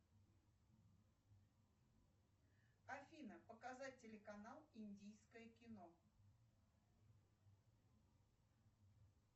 афина показать телеканал индийское кино